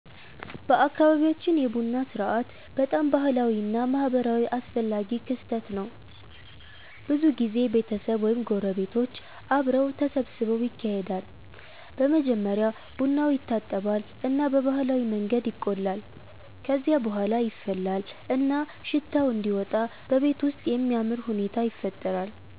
በአካባቢያችን የቡና ሥርዓት በጣም ባህላዊ እና ማህበራዊ አስፈላጊ ክስተት ነው። ብዙ ጊዜ ቤተሰብ ወይም ጎረቤቶች አብረው ተሰብስበው ይካሄዳል። በመጀመሪያ ቡናው ይታጠባል እና በባህላዊ መንገድ ይቆላል። ከዚያ በኋላ ይፈላል እና ሽታው እንዲወጣ በቤቱ ውስጥ የሚያምር ሁኔታ ይፈጠራል።